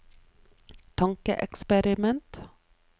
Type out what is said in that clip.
tankeeksperiment